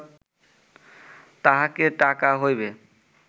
তাহাতে টাকা হইবে